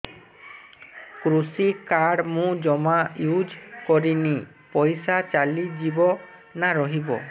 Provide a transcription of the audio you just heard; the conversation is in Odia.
କୃଷି କାର୍ଡ ମୁଁ ଜମା ୟୁଜ଼ କରିନି ପଇସା ଚାଲିଯିବ ନା ରହିବ